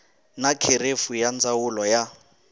na kherefu ya ndzawulo ya